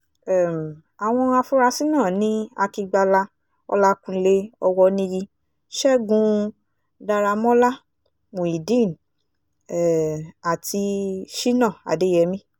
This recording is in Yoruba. um àwọn afurasí náà ni akigbala ọlàkùnlé owọniyi ṣẹ́gun daramọ́lá muideen um àti sina adeyemi